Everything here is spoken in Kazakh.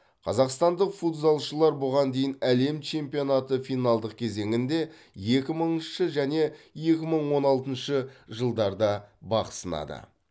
қазақстандық футзалшылар бұған дейін әлем чемпионаты финалдық кезеңінде екі мыңыншы және екі мың он алтыншы жылдарда бақ сынады